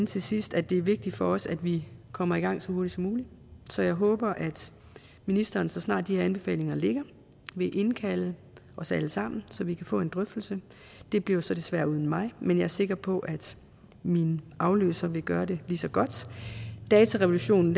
til sidst at det er vigtigt for os at vi kommer i gang så hurtigt som muligt så jeg håber at ministeren så snart de her anbefalinger ligger vil indkalde os alle sammen så vi kan få en drøftelse det bliver så desværre uden mig men jeg er sikker på at min afløser vil gøre det lige så godt datarevolutionen